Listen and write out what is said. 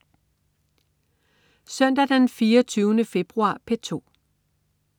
Søndag den 24. februar - P2: